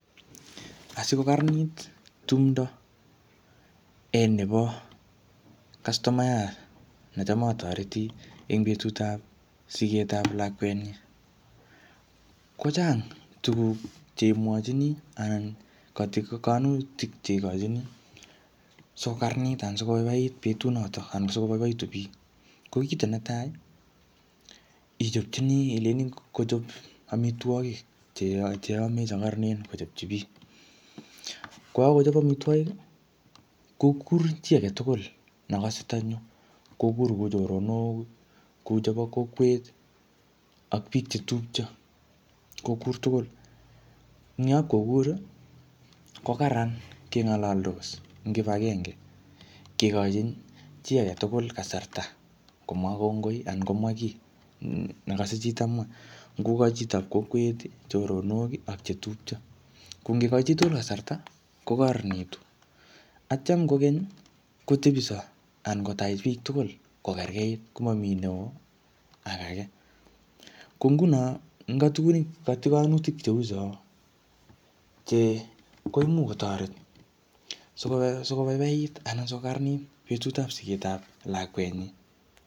Asiko kararanit tumdo, en nebo kastomayat necham atoreti eng betutap sigetap lakwet nyii, kochang tuguk che imwochini, anan katigonutik che ikochini sikokararanit anan sikobaibait betut notok anan sikoboiboitu biik. Ko kito netai, ichopchini ilejini kochop amitwogik cheya-cheyame che karanen kochopchi biik. Ko kakochop amitwogik, kokur chiy age tugul, nekase tanyo. Kokur kuu choronok, ku chebo kokwet, ak biik che tupcho, kokur tugul. Eng yapkokur, ko kararan keng'alaldos en kibagenge. Kekochin chiy age tugul kasarta komwaa kongoi, anan komwaa kiit nekase chi tamwa. Ngoka chitop kokwet, choronok ak chetupcho. Ko ngekekochi chitugul kasarta, kokararanitu. Atyam kokeny, kotebiso anan kotach biiik tugul kokerkeit, komamii neoo ak age. Ko nguno, eng katugunik, katigonutik cheu cho, che koimuch kotoret, siko-sikobaibait anan sikokararanit betutap sigetap lakwet nyi.